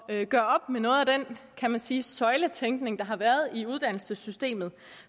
at gøre op med noget af den kan man sige søjletænkning der har været i uddannelsessystemet og